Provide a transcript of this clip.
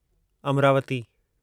Amravati